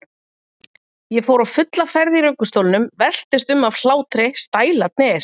Ég fór á fulla ferð í ruggustólnum, veltist um af hlátri, stælarnir!